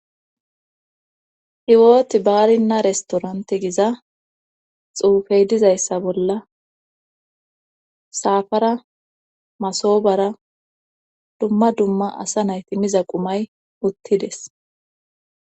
Hiwooti baarinna restorante giza xuufey dizayssa bolla saafara masobara dumma dumma asa nayti miza qumay uttides.